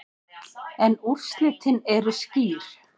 En úrslitin eru skýr.